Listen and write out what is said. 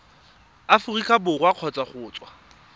aforika borwa kgotsa go tswa